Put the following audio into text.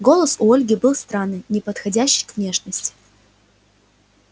голос у ольги был странный неподходящий к внешности